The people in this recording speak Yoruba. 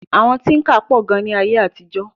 Àwọn tíńkà pọ̀ gan ní ayé àtijọ́.